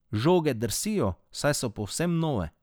Žoge drsijo, saj so povsem nove.